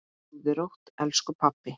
Sofðu rótt, elsku pabbi.